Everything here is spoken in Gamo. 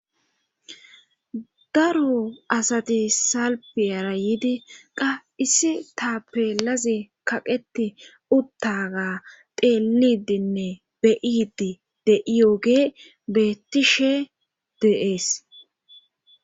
daro asati salpiyara yidi qa issi ta peelazi kaqeti uttaga teelidinne be7idi de7iyooge betishe de7ees